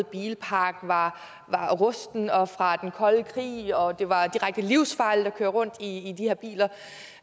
bilpark var rusten og fra den kolde krig og det var direkte livsfarligt at køre rundt i de her biler